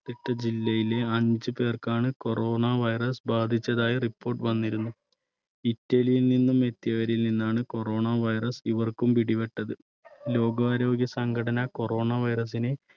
തിട്ട ജില്ലയിലെ അഞ്ച് പേർക്കാണ് corona virus ബാധിച്ചതായി report വന്നിരുന്നു. ഇറ്റലിയിൽ നിന്നും എത്തിയവരിൽ നിന്നാണ് corona virus ഇവർക്കും പിടിപെട്ടത്. ലോകാരോഗ്യ സംഘടന corona virus നെ